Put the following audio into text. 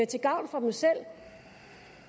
til gavn for dem selv